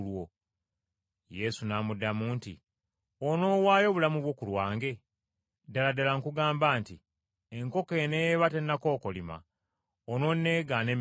Yesu n’amuddamu nti, “Onoowaayo obulamu bwo ku lwange? Ddala ddala nkugamba nti, Enkoko eneeba tennakookolima, ononneegaana emirundi esatu.”